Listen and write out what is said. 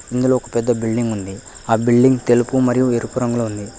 ఇందులో ఒక పెద్ద బిల్డింగ్ ఉంది ఆ బిల్డింగ్ తెలుపు మరియు ఎరుపు రంగులో ఉంది.